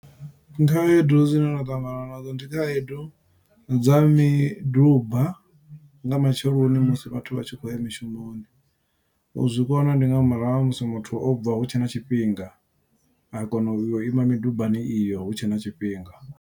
Khaedu dzine nda ṱangana nadzo ndi khaedu dza miduba nga matsheloni musi vhathu vhatshi khou ya mishumoni. U zwi kona ndi nga murahu ha musi muthu o bva hutshe na tshifhinga, a kona u ima midubani iyo hutshe na tshifhinga.